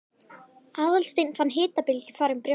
Aðalsteinn fann hitabylgju fara um brjóstið.